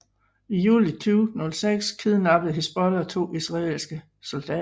I juli 2006 kidnappede Hizbollah to israelske soldater